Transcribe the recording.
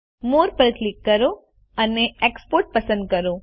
મોરે પર ક્લિક કરો અને એક્સપોર્ટ પસંદ કરો